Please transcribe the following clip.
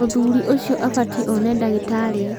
mũthuriũcio abatiĩ one ndagĩtari